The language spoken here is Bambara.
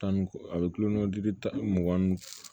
Tan ni kɔ a bɛ kulo kɔnɔ dimi tan mugan ni